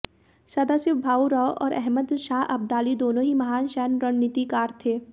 सदाशिव भाऊ राव और अहमद शाह अब्दाली दोनों ही महान सैन्य रणनीतिकार थे